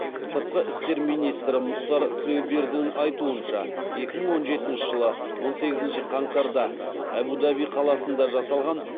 сыртқы істер министрі мұхтар тілеубердін айтуынша екі мың он жетінші жылы он сегізінші қаңтарда әбу даби қаласында жасалған